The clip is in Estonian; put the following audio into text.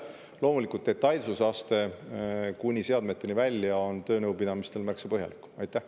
Loomulikult detailsusaste kuni seadmeteni välja on töönõupidamistel märksa.